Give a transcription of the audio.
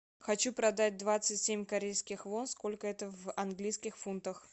хочу продать двадцать семь корейских вон сколько это в английских фунтах